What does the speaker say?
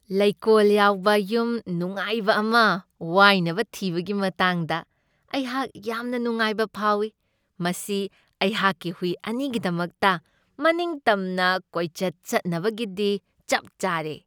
ꯂꯩꯀꯣꯜ ꯌꯥꯎꯕ ꯌꯨꯝ ꯅꯨꯡꯉꯥꯏꯕ ꯑꯃ ꯋꯥꯏꯅꯕ ꯊꯤꯕꯒꯤ ꯃꯇꯥꯡꯗ ꯑꯩꯍꯥꯛ ꯌꯥꯝꯅ ꯅꯨꯡꯉꯥꯏꯕ ꯐꯥꯎꯢ, ꯃꯁꯤ ꯑꯩꯍꯥꯛꯀꯤ ꯍꯨꯏ ꯑꯅꯤꯒꯤꯗꯃꯛꯇ ꯃꯅꯤꯡꯇꯝꯅ ꯀꯣꯏꯆꯠ ꯆꯠꯆꯅꯕꯒꯤꯗꯤ ꯆꯞ ꯆꯥꯔꯦ ꯫